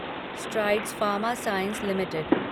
strides pharma science limited